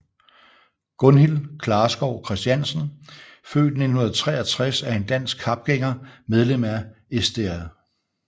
Gunhild Klarskov Kristiansen født 1963 er en dansk kapgænger medlem af Sdr